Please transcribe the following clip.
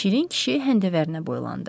Şirin kişi həndəvərinə boylandı.